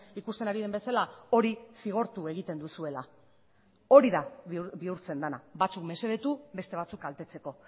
ikusten ari den bezala hori zigortu egiten duzuela hori da bihurtzen dena batzuk mesedetu beste batzuk kaltetzeko